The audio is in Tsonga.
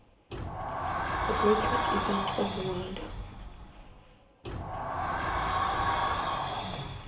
the greatest event in the world